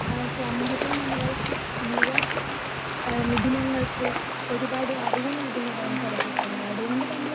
Speaker 2 സമൂഹത്തിൽ നമ്മളെ, യുവമിഥുനങ്ങൾക്ക് ഒരുപാട് അറിവ് നൽകുന്നതാണ് ചലച്ചിത്രങ്ങൾ. അതുകൊണ്ടുതന്നെ